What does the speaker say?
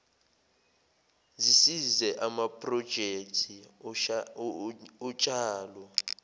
zisize amaprojekthi otshalo